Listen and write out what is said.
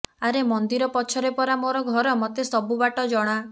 ଆରେ ମନ୍ଦିର ପଛରେ ପରା ମୋର ଘର ମତେ ସବୁ ବାଟ ଜଣା